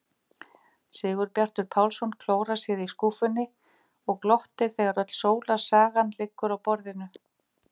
Sigurbjartur Pálsson klórar sér í skúffunni og glottir þegar öll sólarsagan liggur á borðinu.